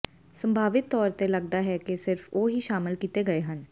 ਸੰਭਾਵਿਤ ਤੌਰ ਤੇ ਲੱਗਦਾ ਹੈ ਕਿ ਸਿਰਫ ਉਹ ਹੀ ਸ਼ਾਮਲ ਕੀਤੇ ਗਏ ਹਨ